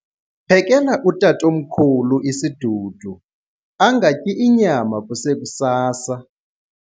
Phekela utatomkhulu isidudu angatyi inyama kusekusasa.